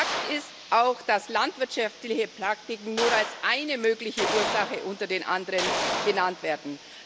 Fakt ist auch, dass landwirtschaftliche Praktiken nur als eine mögliche Ursache unter den anderen genannt werden.